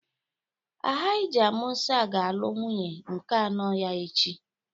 Alhaja Mụsa ga-alụ nwunye nke anọ ya echi